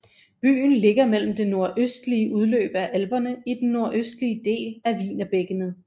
Byen ligger mellem det nordøstlige udløb af Alperne i den nordøstlige del af Wienerbækkenet